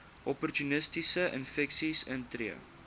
opportunistiese infeksies intree